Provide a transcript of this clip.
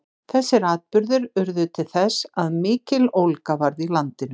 Þessir atburðir urðu til þess að mikill ólga varð í landinu.